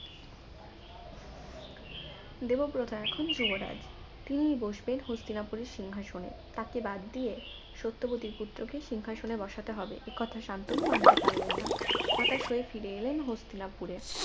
দেবব্রত এখনো যুবরাজ তিনি বসবেন হস্তিনাপুরের সিংহাসনে তাকে বাদ দিয়ে সত্যবতীর পুত্রকে সিংহাসনে বসাতে হবে একথা সান্তনু মানতে পারলেন না হতাশ হয়ে ফিরে এলেন হস্তিনাপুরে